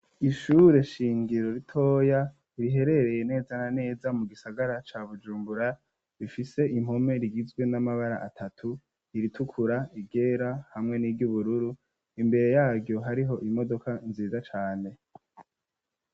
Ishure shingiro, ritoya, riherereye neza na neza, mu gisagara ca Bujumbura, rifise impome, rigizwe n'amabara atatu: iritukura, iryera, hamwe n'iry'ubururu; imbere yaryo, hariho imodoka nziza cane.